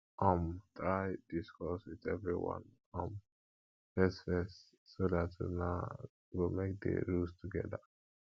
um try discuss with everyone um first first so that una go make the rules together